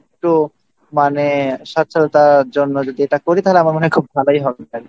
তো মানে সচরাচর জন্য যদি এটা করি তাহলে আমার মনে হয় খুব ভালোই হবে